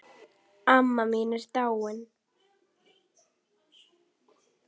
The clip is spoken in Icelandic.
Amma mín er dáin.